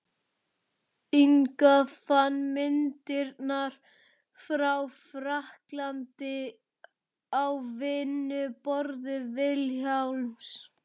Inga fann myndirnar frá frakklandi á vinnuborði Vilhjálms.